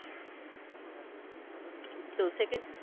তো সেক্ষেত্রে